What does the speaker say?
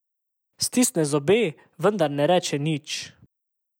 Stisne zobe, vendar ne reče nič.